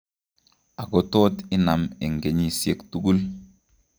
Ako tot inam eng' kenyisiek tugul